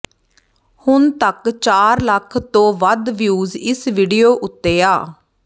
ਹੁਣ ਤੱਕ ਚਾਰ ਲੱਖ ਤੋ ਵੱਧ ਵਿਊਜ਼ ਇਸ ਵੀਡੀਓ ਉੱਤੇ ਆ